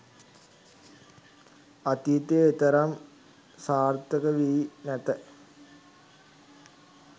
අතීතයේදී එතරම් සාර්ථක වී නැත